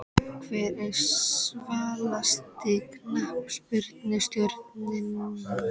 Hver er svalasti knattspyrnustjórinn?